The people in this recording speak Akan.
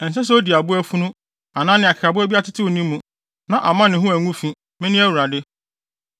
Ɛnsɛ sɛ odi aboa funu anaa nea akekaboa bi atetew ne mu, na amma ne ho angu fi. Mene Awurade.